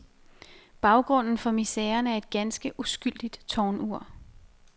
Baggrunden for miseren er et ganske uskyldigt tårnur.